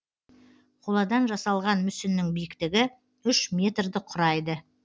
қоладан жасалған мүсіннің биіктігі үш метрді құрайды